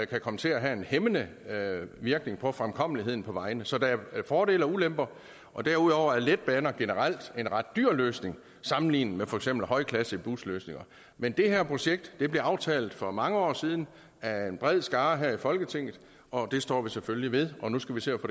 komme til at have en hæmmende virkning på fremkommeligheden på vejene så der er fordele og ulemper derudover er letbaner generelt en ret dyr løsning sammenlignet med for eksempel højklassebusløsninger men det her projekt blev aftalt for mange år siden af en bred skare her i folketinget og det står vi selvfølgelig ved nu skal vi se